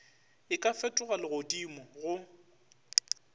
e ka fetoga legodimo go